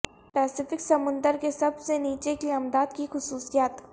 Pacific سمندر کے سب سے نیچے کی امداد کی خصوصیات